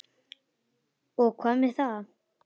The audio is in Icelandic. SOPHUS: Og hvað með það?